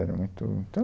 Era muito, Então